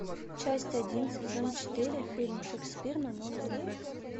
часть один сезон четыре фильм шекспир на новый лад